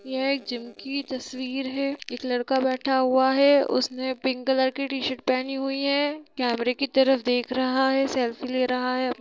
यह एक जिम की तस्वीर है एक लड़का बैठा हुआ है उसने पिंक कलर की टी-शर्ट पहनी हुई है केमरे की तरफ देख रहा है सेल्फी ले रहा है।